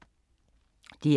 DR1